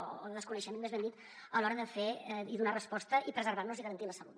o desconeixement més ben dit a l’hora de fer i donar resposta i preservar i garantir la salut